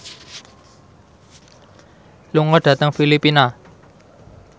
lunga dhateng Filipina